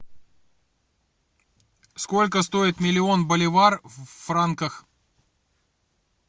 сколько стоит миллион боливар в франках